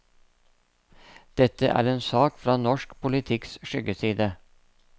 Dette er en sak fra norsk politikks skyggeside.